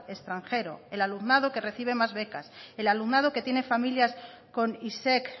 extranjero el alumnado que recibe más becas el alumnado que tiene familias con isec